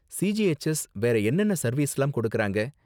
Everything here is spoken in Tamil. சிஜிஹெச்எஸ் வேற என்னென்ன சர்வீஸ்லாம் கொடுக்கறாங்க